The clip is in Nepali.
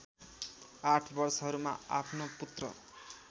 आठ वर्षहरूमा आफ्नो पुत्र